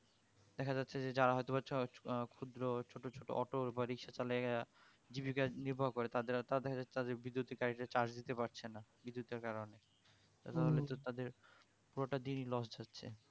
দেখা যাচ্ছে যে যার হযতোবা উহ ক্ষুদ্র ছোট ছোট auto বা রিক্সা চালায়া জীবিকা নির্ভর করে তাদের তাদের বিদ্যুতের গাড়ি তা charge দিতে পারছে না বিদ্যুতের কারণে তাহলে তো তাদের পুরোটা দিনই loss যাচ্ছে